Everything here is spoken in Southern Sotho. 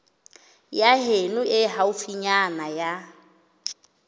ya heno e haufinyana ya